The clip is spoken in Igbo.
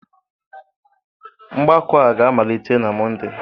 Mgbakọ a ga-amalite na Mọnde.